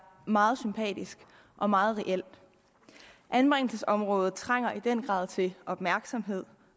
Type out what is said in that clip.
meget sympatisk og meget reelt anbringelsesområdet trænger i den grad til opmærksomhed